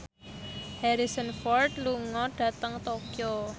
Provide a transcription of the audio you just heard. Harrison Ford lunga dhateng Tokyo